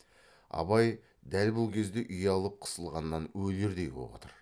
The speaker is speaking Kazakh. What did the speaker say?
абай дәл бұл кезде ұялып қысылғаннан өлердей боп отыр